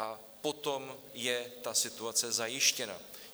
A potom je ta situace zajištěna.